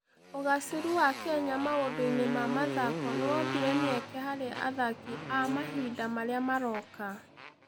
Ũgaacĩru wa Kenya maũndũ-inĩ ma mathako nĩ wombire mĩeke harĩ athaki a mahinda marĩa maroka.